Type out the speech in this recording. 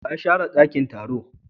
waye ya share dakin taro?